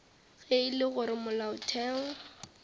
ge e le gore molaotheo